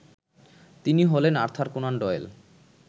তিনি হলেন Arthur Conan Doyle